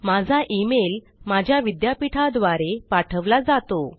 माझा इमेल माझ्या विद्यापीठा द्वारे पाठवला जातो